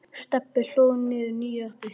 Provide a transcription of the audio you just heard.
Stebbi hlóð niður nýju appi.